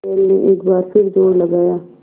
बैल ने एक बार फिर जोर लगाया